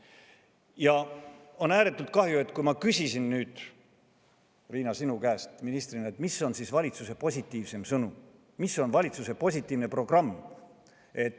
Ja on ääretult kahju, et kui ma küsisin nüüd, Riina, sinu kui ministri käest, mis on valitsuse positiivsem sõnum, mis on valitsuse positiivne programm,.